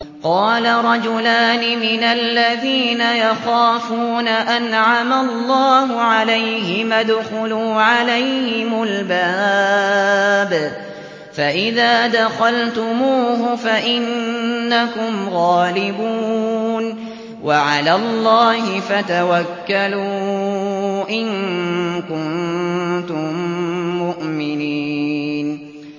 قَالَ رَجُلَانِ مِنَ الَّذِينَ يَخَافُونَ أَنْعَمَ اللَّهُ عَلَيْهِمَا ادْخُلُوا عَلَيْهِمُ الْبَابَ فَإِذَا دَخَلْتُمُوهُ فَإِنَّكُمْ غَالِبُونَ ۚ وَعَلَى اللَّهِ فَتَوَكَّلُوا إِن كُنتُم مُّؤْمِنِينَ